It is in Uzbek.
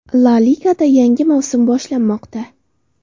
La Ligada yangi mavsum boshlanmoqda.